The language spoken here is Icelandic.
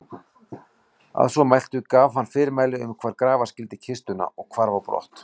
Að svo mæltu gaf hann fyrirmæli um hvar grafa skyldi kistuna og hvarf á brott.